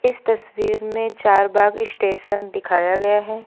इस तस्वीर में चारबाग स्टेशन दिखाया गया है।